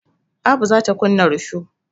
Abu za ta kunna risho.